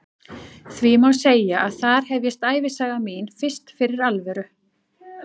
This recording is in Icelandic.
Því má segja að þar hefjist ævisaga mín fyrst fyrir alvöru.